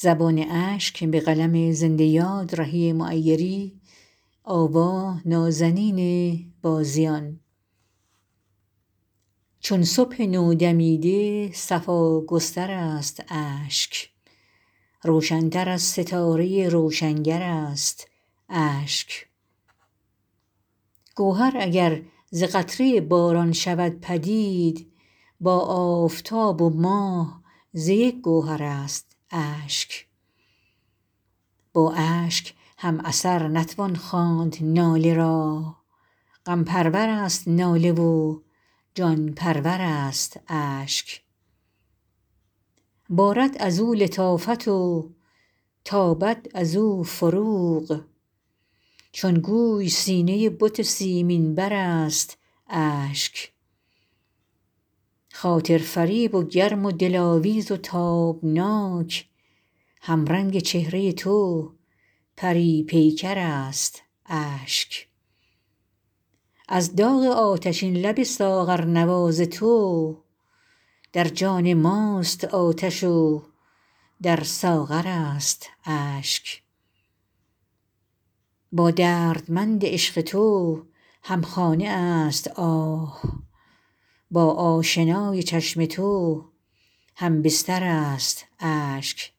چون صبح نودمیده صفا گستر است اشک روشن تر از ستاره روشنگر است اشک گوهر اگر ز قطره باران شود پدید با آفتاب و ماه ز یک گوهر است اشک با اشک هم اثر نتوان خواند ناله را غم پرور است ناله و جان پرور است اشک بارد ازو لطافت و تابد ازو فروغ چون گوی سینه بت سیمین بر است اشک خاطر فریب و گرم و دلاویز و تابناک همرنگ چهره تو پری پیکر است اشک از داغ آتشین لب ساغرنواز تو در جان ماست آتش و در ساغر است اشک با دردمند عشق تو همخانه است آه با آشنای چشم تو هم بستر است اشک